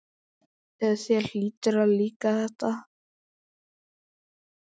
Þér hlýtur að líka þetta?